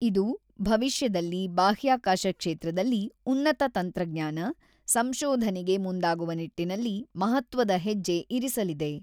ಇದು ಭವಿಷ್ಯದಲ್ಲಿ ಬಾಹ್ಯಾಕಾಶ ಕ್ಷೇತ್ರದಲ್ಲಿ ಉನ್ನತ ತಂತ್ರಜ್ಞಾನ, ಸಂಶೋಧನೆಗೆ ಮುಂದಾಗುವ ನಿಟ್ಟಿನಲ್ಲಿ ಮಹತ್ವದ ಹೆಜ್ಜೆ ಇರಿಸಲಿದೆ.